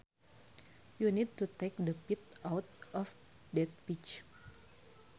You need to take the pit out of that peach